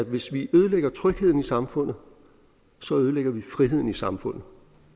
hvis vi ødelægger trygheden i samfundet ødelægger vi friheden i samfundet